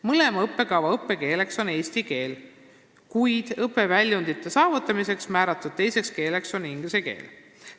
Mõlema õppekava õppekeeleks on eesti keel, kuid õpiväljundite saavutamiseks vajalik teine keel on inglise keel.